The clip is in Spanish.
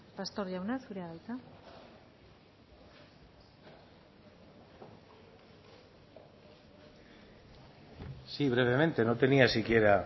pastor jauna zurea da hitza sí brevemente no tenía siquiera